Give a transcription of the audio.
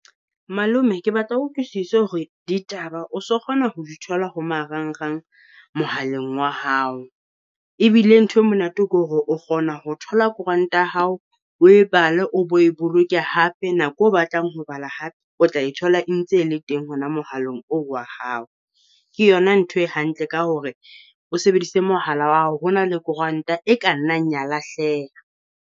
Malome, ke batla o utlwisise hore ditaba o so kgona ho di thola ho marangrang, mohaleng wa hao. Ebile ntho e monate ke hore o kgona ho thola koranta ya hao, o e bale, o bo e boloke hape, nako o batlang ho bala hape o tla e thola e ntse e le teng hona mohaleng o wa hao. Ke yona ntho e hantle ka hore o sebedise mohala wa hao hona le koranta e ka nnang ya lahleha.